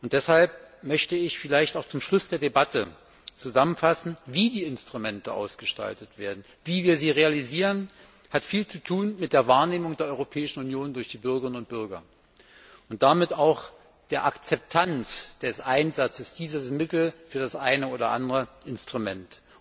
Deshalb möchte ich zum Schluss der Debatte zusammenfassen, wie die Instrumente ausgestaltet werden. Wie wir sie realisieren, hat viel zu tun mit der Wahrnehmung der Europäischen Union durch die europäischen Bürgerinnen und Bürger und damit auch mit der Akzeptanz des Einsatzes der Mittel für das eine oder andere Instrument.